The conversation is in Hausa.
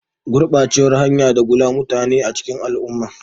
Gurbacewar hayaniya ta dagula mutane a cikin al'umma